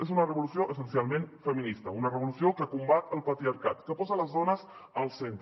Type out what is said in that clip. és una revolució essencialment feminista una revolució que combat el patriarcat que posa les dones al centre